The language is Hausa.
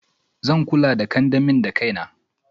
Zan kula the kandamin dakaina.